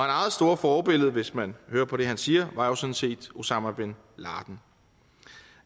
eget store forbillede hvis man hører på det han siger var jo sådan set osama bin laden